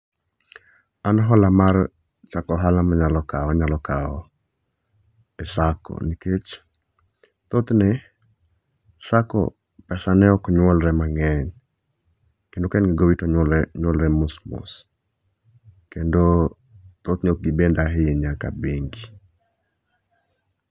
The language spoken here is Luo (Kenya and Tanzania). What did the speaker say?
An hola mar chako ohalo ma anyalo kawo, anyalo kawo e sacco nikech thothne sacco pesane oknyuolre mange'ny kendo ka en gowi to onyuolre mos mos kendo thithne ok gibeth ahinya ka bengi'